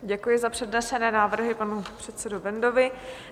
Děkuji za přednesené návrhy panu předsedovi Bendovi.